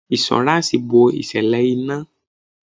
Insuransi bo ìṣẹ̀lẹ̀ ina.